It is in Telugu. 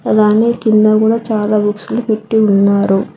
అలానే కింద గూడా చాలా బుక్స్లు పెట్టి ఉన్నారు